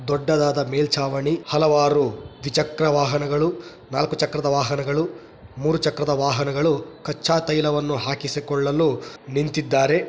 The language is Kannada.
ದೊಡ್ಡದಾದ ಮೇಲ್ಚಾವಣಿ ಹಲವಾರು ದ್ವಿಚಕ್ರದ ವಾಹನಗಳು ನಾಲ್ಕು ಚಕ್ರದ ವಾಹನಗಳು ಮೂರು ಚಕ್ರದ ವಾಹನಗಳು ಕಚ್ಚಾ ತೈಲವನ್ನು ಹಾಕಿಸಿಕೊಳ್ಳಲು ನಿಂತಿದ್ದಾರೆ.